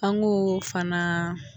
An ko fana